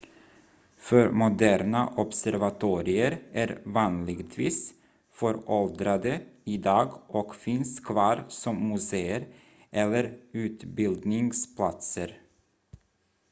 förmoderna observatorier är vanligtvis föråldrade idag och finns kvar som muséer eller utbildningsplatser